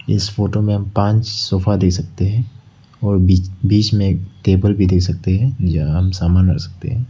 इस फोटो में हम पांच सोफा देख सकते हैं और बीच में एक टेबल भी देख सकते है यहाँ हम समान रख सकते है।